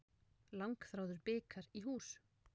Langþráður bikar í hús